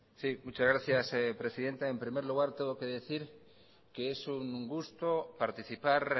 sí muchas gracias presidenta en primer lugar tengo que decir que es un gusto participar